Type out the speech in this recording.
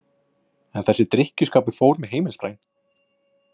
En þessi drykkjuskapur fór með heimilisbraginn.